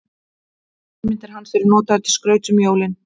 Eftirmyndir hans eru notaðar til skrauts um jólin.